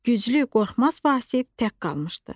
Güclü, qorxmaz Vasif tək qalmışdı.